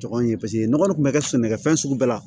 Jɔgɔn in ye paseke nɔgɔ kɔni tun bɛ kɛ sɛnɛkɛfɛn sugu bɛɛ la